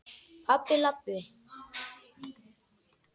Pabbi- labb.